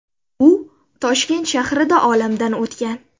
U Toshkent shahrida olamdan o‘tgan.